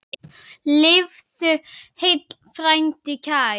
Lifðu heill, frændi kær!